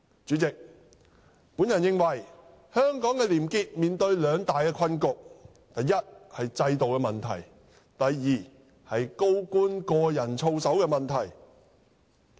主席，我認為香港的廉潔面對兩大困局，一是制度問題，二是高官個人操守的問題。